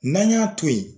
N'an y'a to yen